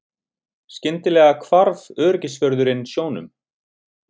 Skyndilega hvarf öryggisvörðurinn sjónum.